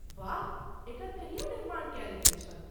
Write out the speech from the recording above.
वाह, एकर कहिया निर्माण कयल गेल छल?